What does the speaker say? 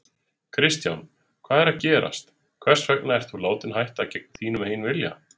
Kristján: Hvað er að gerast, hvers vegna ert þú látinn hætta gegn þínum eigin vilja?